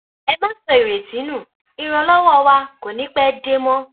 ẹ má sọ ìrètí nu ìrànlọwọ wa kò ní í pẹẹ dé mọ